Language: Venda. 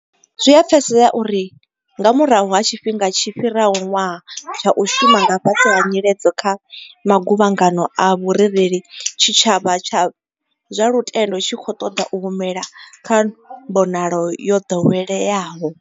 Zwi a pfesesea uri nga murahu ha tshifhinga tshi fhiraho ṅwaha tsha u shuma nga fhasi ha nyiledzo kha maguvhangano a vhurereli tshitshavha tsha zwa lutendo tshi khou ṱoḓa u humela kha mbonalo yo ḓoweleaho.